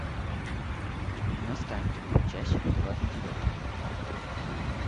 на старт часть двадцать девятая